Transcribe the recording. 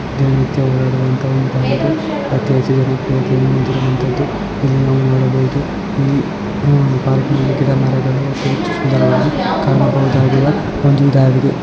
ಈ ರೀತಿ ಆಗಿರೋ ವಂತ ಅಚ್ಚ ಹಸಿರು ವಾದಿ ಇರುವಂತದು ಅಲ್ಲಿ ಮರಗಿಡಗಳು ಇಲ್ಲಿ ಸುಂದರವಾಗಿ ಹೂಗಳು ಇರೋವಂಥದು. ಇದಾಗಿದೆ .